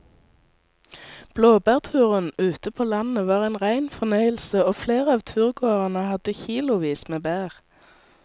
Blåbærturen ute på landet var en rein fornøyelse og flere av turgåerene hadde kilosvis med bær.